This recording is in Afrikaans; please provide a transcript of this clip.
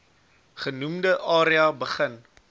genoemde area begin